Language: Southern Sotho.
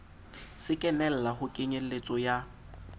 se kenella ho kenyeletso ya